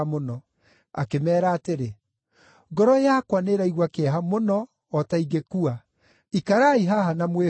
Akĩmeera atĩrĩ, “Ngoro yakwa nĩĩraigua kĩeha mũno o ta ingĩkua, ikarai haha na mwĩhũge.”